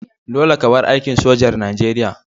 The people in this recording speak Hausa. Dolle ka bar aikin sojar Nijeriya!